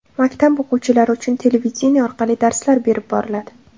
Maktab o‘quvchilari uchun televideniye orqali darslar berib boriladi.